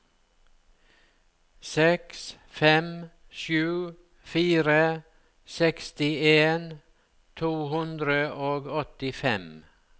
seks fem sju fire sekstien to hundre og åttifem